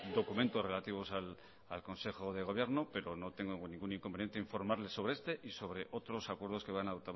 documentos relativos al consejo de gobierno pero no tengo ningún inconveniente en informarle sobre este y sobre otros acuerdos que van a